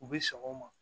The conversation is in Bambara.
U bi sɔn o ma